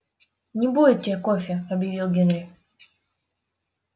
не будет тебе кофе объявил генри